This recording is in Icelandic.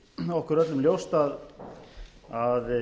okkur er öllum ljóst að